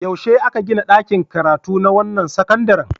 Yaushe aka gina ɗakin karatu na wannan sakandaren?